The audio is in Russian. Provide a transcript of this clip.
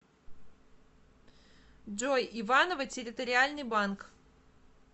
джой иваново территориальный банк